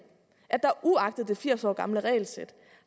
at der uagtet det firs år gamle regelsæt